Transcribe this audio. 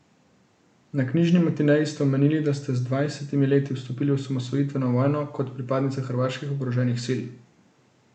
Na Knjižni matineji ste omenili, da ste z dvajsetimi leti vstopili v osamosvojitveno vojno kot pripadnica hrvaških oboroženih sil.